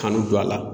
Kanu don a la